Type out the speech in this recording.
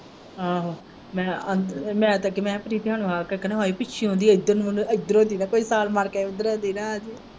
ਆਹੋ ਮੈਂ ਮੈਂ ਸੱਚ ਪ੍ਰੀਤ ਹੁਣਾਂ ਨੂੰ ਕਹਿੰਦੀ ਇੱਧਰ ਨੂੰ ਨਹੀਂ ਆਉਂਦੇ ਇੱਧਰੋਂ ਦੀ ਨਾ ਪਈ ਛਾਲ ਮਾਰ ਕੇ ਉੱਧਰੋਂ ਦੀ ਨਾ ਆਜਿਉ।